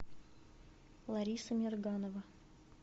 лариса мирганова